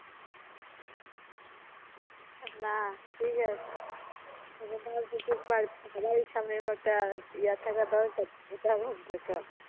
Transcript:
না ঠিক আছে . সবারই সামনে একটা ইয়া থাকা দরকার উদাহরণ থাকা